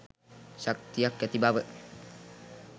ශක්තියක් ඇති බව